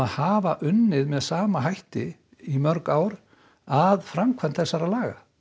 hafa unnið með sama hætti í mörg ár að framkvæmd þessarar laga